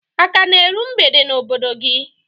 A ka na eru mgbede n'obodo gị?